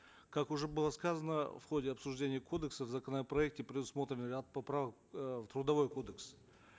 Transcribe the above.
как уже было сказано в ходе обсуждения кодекса в законопроекте предусмотрен ряд поправок э в трудовой кодекс